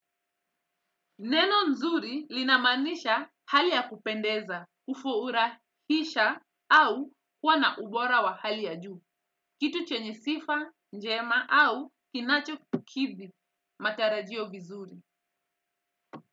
Neno nzuri linamaanisha hali ya kupendeza, kufurahisha, au kuwa na ubora wa hali ya juu, kitu chenye sifa njema au kinachokidhi matarajio vizuri.